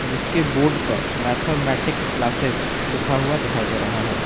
जिसके बोर्ड पर mathematics classes लिखा हुआ दिखाई दे रहा है।